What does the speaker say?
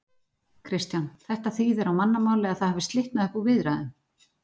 Kristján: Þetta þýðir á mannamáli að það hafi slitnað upp úr viðræðum?